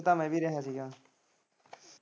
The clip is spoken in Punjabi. ਕੁੱਝ ਕੰਮ ਇਵੀਂ ਕੰਮ ਰਿਹਾ ਸੀਗਾ।